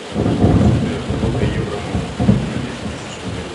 сбер сколько евро можно купить на десять тысяч рублей